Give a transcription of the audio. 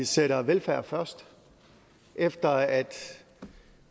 sætter velfærd først efter at